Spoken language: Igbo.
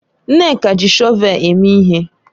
Nneka ji shọvel eme ihe.